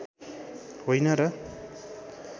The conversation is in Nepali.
होइन र